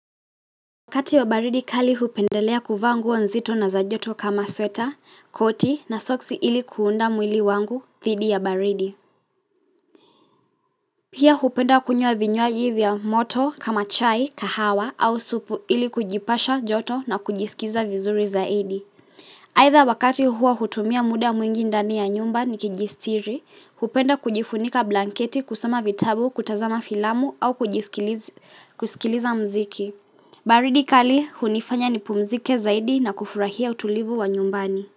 Wakati wa baridi kali hupendelea kuvaa nguo nzito na za joto kama sweta, koti na socks ili kuunda mwili wangu, dhidi ya baridi. Pia hupenda kunywa vinyuaji vya moto kama chai, kahawa au supu ili kujipasha joto na kujisikiza vizuri zaidi. Aitha wakati huo hutumia muda mwingi ndani ya nyumba ni kijistiri, hupenda kujifunika blanketi kusoma vitabu, kutazama filamu au kujisikiliza kusikiliza mziki. Baridi kali hunifanya nipumzike zaidi na kufurahia utulivu wa nyumbani.